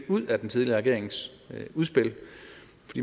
ud af den tidligere regerings udspil